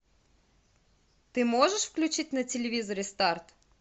ты можешь включить на телевизоре старт